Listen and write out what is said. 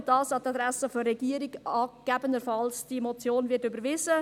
Dies an die Adresse der Regierung, gesetzt den Fall, die Motion wird überwiesen.